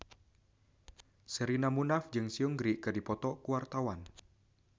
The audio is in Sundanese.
Sherina Munaf jeung Seungri keur dipoto ku wartawan